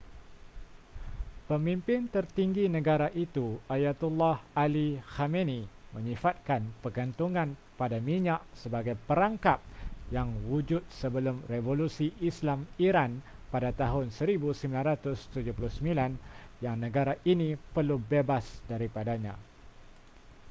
pemimpin tertinggi negara itu ayatollah ali khamenei menyifatkan pergantungan pada minyak sebagai perangkap yang wujud sebelum revolusi islam iran pada tahun 1979 yang negara ini perlu bebas daripadanya